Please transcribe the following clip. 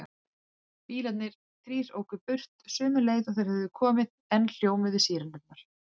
Bílarnir þrír óku burt sömu leið og þeir höfðu komið og enn hljómuðu sírenurnar.